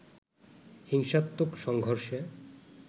হিংসাত্মক সংঘর্ষে